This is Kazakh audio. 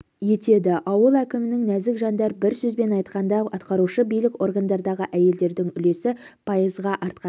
етеді ауыл әкімінің нәзік жандар бір сөзбен айтқанда атқарушы билік органдарындағы әйелдердің үлесі пайызға артқан